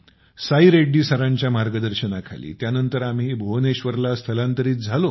साई रेड्डी सरांच्या मार्ग्द्शानाखाली त्यानंतर आम्ही भुवनेश्वरला स्तलांत्रित झालो